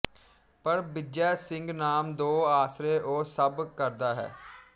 ਪਰ ਬਿਜੈ ਸਿੰਘ ਨਾਮ ਦੋ ਆਸਰੇ ਉਹ ਸਭ ਕਰਦਾ ਹੈ